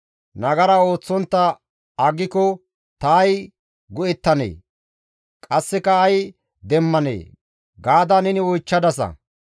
‹Nagara ooththontta aggiko ta ay go7ettanee? qasseka ay demmanee?› gaada neni oychchadasa.